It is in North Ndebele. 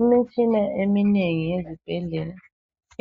imitshina eminengi yesibhedlela